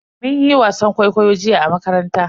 Mun yi wasan kwaikwayo jiya a makaranta.